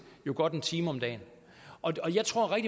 godt en time om dagen jeg tror at